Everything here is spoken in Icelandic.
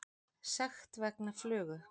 Sekt vegna flugu